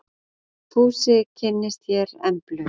Fúsi kynnist hér Emblu.